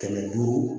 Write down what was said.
Kɛmɛ duuru